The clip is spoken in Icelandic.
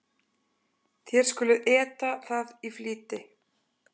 Þér skuluð eta það í flýti.